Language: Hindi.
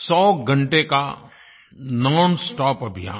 100 घंटे का नोन स्टॉप अभियान